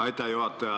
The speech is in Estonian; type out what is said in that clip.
Aitäh, juhataja!